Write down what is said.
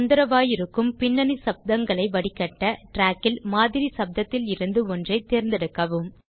தொந்திரவாயிருக்கும் பின்னணி சப்தங்களை வடிகட்ட trackல் மாதிரி சப்தத்திலிருந்து ஒன்றைத் தேர்ந்தெடுக்கவும்